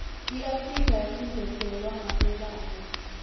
iafrika yacinozetelwa ngekweubala